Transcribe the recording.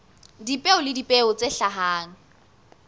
dipeo le dipeo tse hlahang